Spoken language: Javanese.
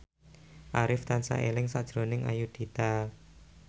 Arif tansah eling sakjroning Ayudhita